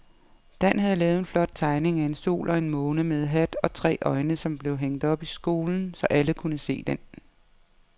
Dan havde lavet en flot tegning af en sol og en måne med hat og tre øjne, som blev hængt op i skolen, så alle kunne se den.